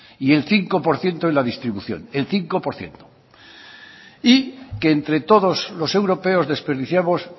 y el cinco por ciento en la distribución el cinco por ciento y que entre todos los europeos desperdiciamos